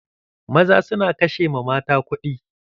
Maza su na ƙashe ma mata kuɗi.